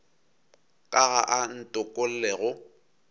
ka ga a ntokolle go